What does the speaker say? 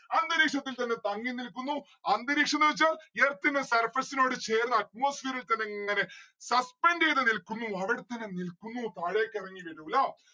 അന്തരീക്ഷത്തിൽ തന്നെ തങ്ങി നിൽക്കുന്നു അന്തരീക്ഷമെന്ന്‌ വെച്ചാ earth ന്റെ surface നോട് ചേർന്ന് atmosphere ൽ തന്നെ ഇങ്ങനെ suspend എയ്ത നിൽക്കുന്നു അവിടെത്തന്നെ നിൽക്കുന്നു താഴേക്കെറങ്ങി വരൂല്ലാ